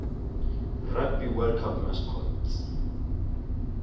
rugby world cup mascots